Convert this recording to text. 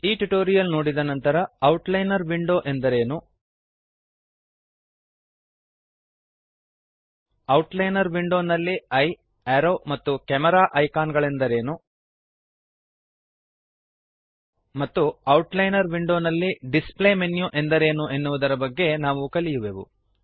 ಈ ಟ್ಯುಟೋರಿಯಲ್ ನೋಡಿದ ನಂತರ ಔಟ್ಲೈನರ್ ವಿಂಡೋ ಎಂದರೆ ಏನು ಔಟ್ಲೈನರ್ ವಿಂಡೋನಲ್ಲಿ ಈಯೆ ಅರೋವ್ ಮತ್ತು ಕೆಮೆರಾ ಐಕಾನ್ ಗಳೆಂದರೆ ಏನು ಮತ್ತು ಔಟ್ಲೈನರ್ ವಿಂಡೋನಲ್ಲಿ ಡಿಸ್ಪ್ಲೇ ಮೆನ್ಯು ಎಂದರೇನು ಎನ್ನುವುದರ ಬಗೆಗೆ ನಾವು ಕಲಿಯುವೆವು